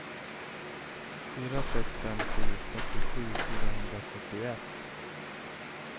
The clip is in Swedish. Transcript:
fyra sex fem sju fyrtiosju fyrahundrafyrtioett